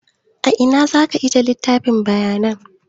A ina za ka aje littafin bayanan?